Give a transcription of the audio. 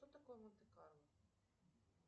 что такое монте карло